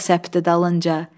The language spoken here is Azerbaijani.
Su da səpdi dalınca.